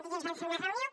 dilluns vam fer una reunió